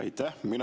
Aitäh!